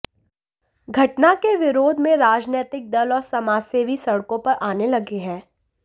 घटना के विरोध में राजनैतिक दल और समाजसेवी सड़कों पर आने लगें हैं